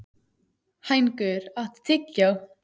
Hængur, áttu tyggjó?